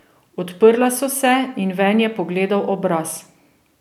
Odprla so se in ven je pogledal obraz.